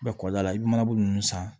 Mɛ kɔkɔla i bɛ manabugu ninnu san